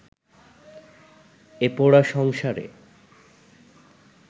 এ পোড়া সংসারে